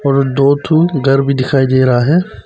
और दु ठो घर भी दिखाई दे रहा है।